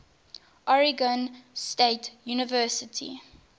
oregon state university